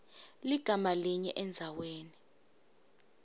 ligama linye endzaweni